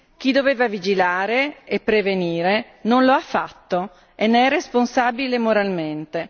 Chi doveva vigilare e prevenire non lo ha fatto e ne è responsabile moralmente.